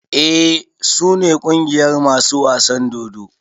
Eh su ne ƙungiyar masu wasan dodo.